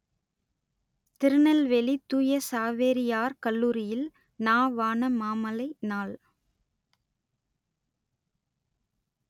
திருநெல்வேலி தூய சாவேரியார் கல்லூரியில் நா வானமாமலை நாள்